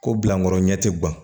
Ko bilakɔrɔ ɲɛ ti gan